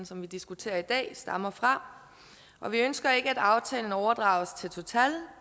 som vi diskuterer i dag stammer fra og vi ønsker ikke at aftalen overdrages til total